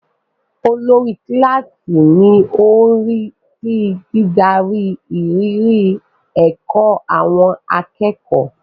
Olórí kíláàsì ni ó ń rí sí dídarí ìrírí ẹ̀kọ́ àwọn akẹ́kọ̀ọ́.